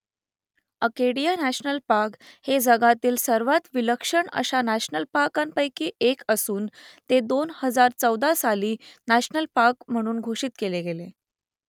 Acadia national park हे जगातील सर्वांत विलक्षण अशा नॅशनल पार्कपैकी एक असून ते दोन हजार चौदा साली नॅशनल पार्क म्हणून घोषित केले गेले